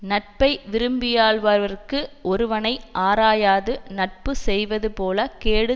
நட்பை விரும்பியாள்பவர்க்கு ஒருவனை ஆராயாது நட்பு செய்வதுபோலக் கேடு